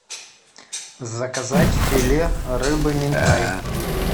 заказать филе рыбы минтай